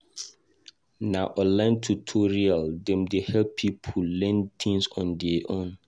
Na online tutorial dem dey help pipo learn tins on their own.